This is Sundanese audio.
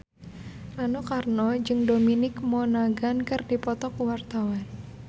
Rano Karno jeung Dominic Monaghan keur dipoto ku wartawan